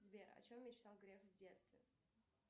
сбер о чем мечтал греф в детстве